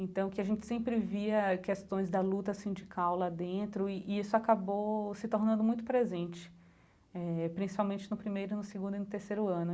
Então que a gente sempre via questões da luta sindical lá dentro e e isso acabou se tornando muito presente, eh principalmente no primeiro e no segundo e no terceiro ano.